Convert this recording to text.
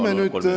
Palun!